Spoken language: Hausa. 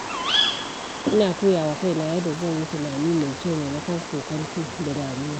Ina koya wa kaina yadda zan yi tunani mai kyau maimakon kokonto da damuwa.